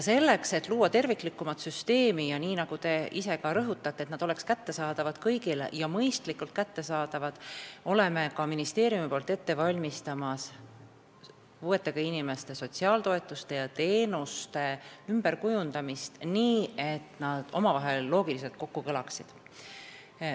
Selleks, et luua terviklikumat süsteemi ja et teenused oleks kõigile mõistlikult kättesaadavad, nii nagu ka te ise rõhutate, valmistab ministeerium ette puuetega inimeste sotsiaaltoetuste ja -teenuste ümberkujundamist, et need omavahel loogiliselt kokku kõlaksid.